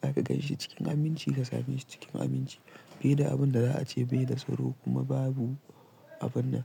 za ka ganshi cikin aminci ka same shi cikin aminci. Sai dai abun da za a ce bai da tsaro kuma babu abun nan.